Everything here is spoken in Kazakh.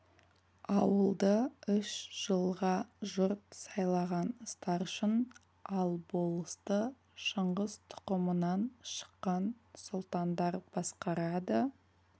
ауылды үш жылға жұрт сайлаған старшын ал болысты шыңғыс тұқымынан шыққан сұлтандар басқарады